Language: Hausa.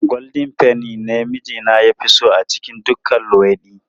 Goldin feni ne mijina ya fi so a cikin duka luwaiɗi.